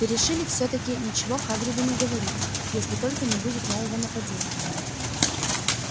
перешили всё-таки ничего хагриду не говорить если только не будет нового нападения